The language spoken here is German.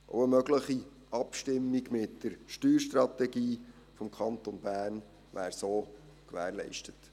Auch wäre so eine mögliche Abstimmung mit der Steuerstrategie des Kantons Bern gewährleistet.